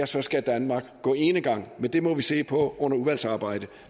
så skal danmark gå enegang men det må vi se på under udvalgsarbejdet